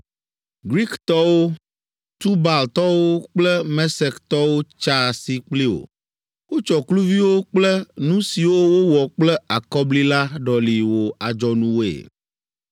“Griktɔwo, Tubaltɔwo kple Mesektɔwo tsa asi kpli wò. Wotsɔ kluviwo kple nu siwo wowɔ kple akɔbli la ɖɔli wò adzɔnuwoe.